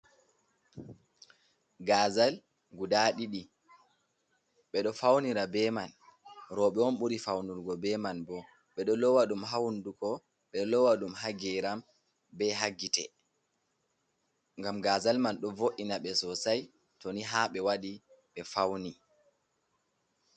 Gaazal guda ɗiɗi ɓe ɗo fawnira be man ,rowɓe on, ɓuri fawnulgo be man bo. Ɓe ɗo loowa ɗum haa hunnduko, ɓe ɗo loowa ɗum haa geeram ,be haa gite ngam gaazal man, ɗo vo’ina ɓe sosay ,to ni haa ɓe waɗi ɓe fawni.